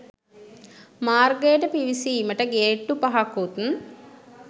මාර්ගයට පිවිසීමට ගේට්‌ටු පහකුත්